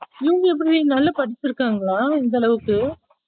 இவங்க எப்படி டி நல்லா படுச்சுருக்காங்கள இந்த அளவுக்கு